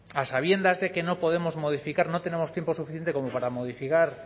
a sabiendas de que no podemos modificar no tenemos tiempo suficiente como para modificar